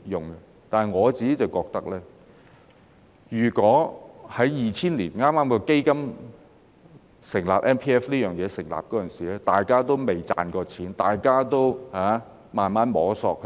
可是，我個人覺得，在2000年剛成立 MPF 這項計劃時，那時大家仍未賺到錢，仍在慢慢摸索，